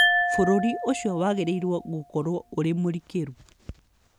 Bũrũri ũcio wagĩrĩirũo gũkorũo ũrĩ mũrikĩru.